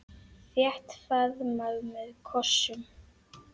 Þétt faðmlag með kossum.